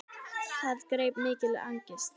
Það greip mikil angist.